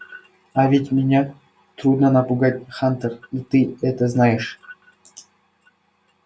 а ведь меня трудно напугать хантер и ты это знаешь